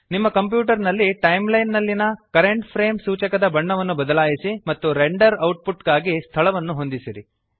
ನಿಮ್ಮ ಕಂಪ್ಯೂಟರ್ ನಲ್ಲಿ ಟೈಮ್ಲೈನ್ ನಲ್ಲಿಯ ಕರೆಂಟ್ ಫ್ರೇಮ್ ಸೂಚಕದ ಬಣ್ಣವನ್ನು ಬದಲಾಯಿಸಿ ಮತ್ತು ರೆಂಡರ್ ಔಟ್ಪುಟ್ ಗಾಗಿ ಸ್ಥಳವನ್ನು ಹೊಂದಿಸಿರಿ